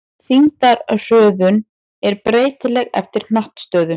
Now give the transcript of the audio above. Þyngdarhröðun er breytileg eftir hnattstöðu.